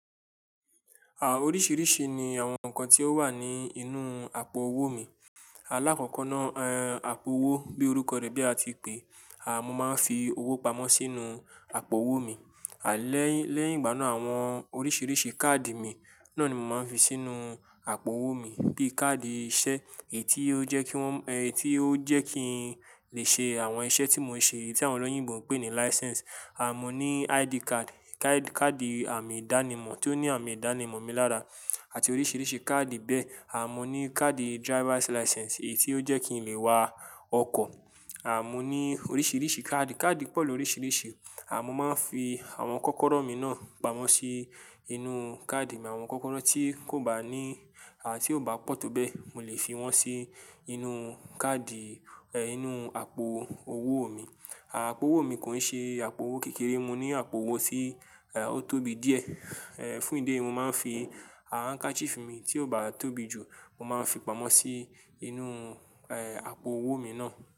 Oríṣìíríṣìí ni àwọn nǹkan tí ó wà ní inú àpò owó mi. Alákọ̀kọ́ náà, àpò owó bí orúkọ rẹ̀ bí a ti pè é, mo máa ń fi owó pamọ́ sínú àpò owó mi. Lẹ́yìn, lẹ́yìn ìgbà náà àwọn oríṣìíríṣìí káàdì mi náà ni mo máa ń fi sínú àpò owó mi. Bí káàdì iṣẹ́ èyí tí ó jẹ́ kí wọ́n, tí ó jẹ́ kí n lè ṣe àwọn iṣẹ́ tí mò ń ṣe tí àwọn olóyìnbo ń pè ní license. Mo ní ID card, káàdì àmì ìdánimọ̀ tí ó ní àmì ìdánimọ̀ mi lára àti oríṣìíríṣìí káàdì bẹ́ẹ̀. À mo ní káàdì driver's license èyí tí ó jẹ́ kí n lè wa ọkọ̀. À mo ní oríṣìíríṣìí káàdì, káàdì pọ̀ lóríṣìíríṣìí. Mo máa ń fi àwọn kọ́kọ́rọ́ mi náà pamọ́ sí inú káàdì mi, àwọn kọ́kọ́rọ́ tí kò bá ní, tí ò bá pọ̀ tó bẹ́ẹ̀, mo lè fi wọ́n sí inú káàdì, inú àpò owó mi. Àpò owó mi kò ń ṣe àpò owó kékeré, mo ní àpò owó tí, ó tóbi díẹ̀. Ẹ́, fún ìdí eyi, mo máa ń fi, handkerchief mi tí ò bá tóbi jù, mo máa ń fi pamọ́ sí inú, àpò owó mi náà.